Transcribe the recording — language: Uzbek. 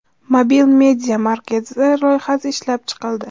Mobil media markaz loyihasi ishlab chiqildi.